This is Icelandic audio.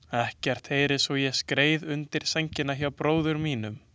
Ekkert heyrðist svo ég skreið undir sængina hjá bróður mínum.